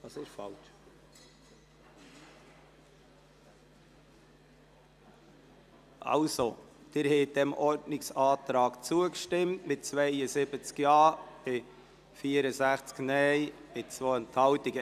Sie haben dem Ordnungsantrag zugestimmt mit 72 Ja- zu 64 Nein-Stimmen bei 2 Enthaltungen.